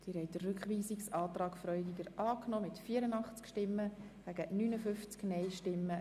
Sie haben den Rückweisungsantrag der SVP angenommen.